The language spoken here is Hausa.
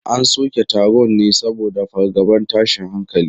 An soke taron ne saboda fargabar tashin hankali.